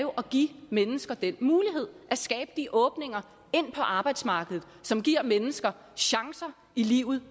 give mennesker den mulighed at skabe de åbninger ind på arbejdsmarkedet som giver mennesker chancer i livet